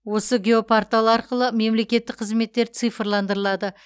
осы геопортал арқылы мемлекеттік қызметтер цифрландырылады